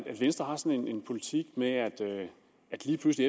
venstre har sådan en politik med at lige pludselig